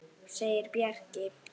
segir Bjarki.